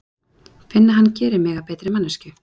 Finn að hann gerir mig að betri manneskju.